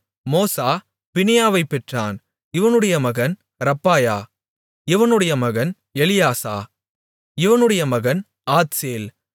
மோசா பினியாவைப் பெற்றான் இவனுடைய மகன் ரப்பாயா இவனுடைய மகன் எலியாசா இவனுடைய மகன் ஆத்சேல்